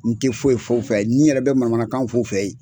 N tɛ foyi foyi fɔ a ye ni nyɛrɛ bɛ manamanakanw fo fɛ yen